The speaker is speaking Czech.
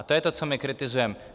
A to je to, co my kritizujeme.